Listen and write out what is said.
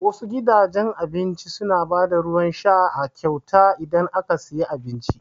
Wasu gidajen abincin su na ba da ruwan sha a kyauta idan aka siya abinci